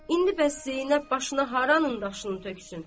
İndi bəs Zeynəb başına haranın daşını töksün?